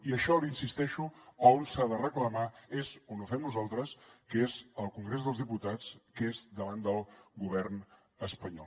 i això hi insisteixo on s’ha de reclamar és on ho fem nosaltres que és al congrés dels diputats que és davant del govern espanyol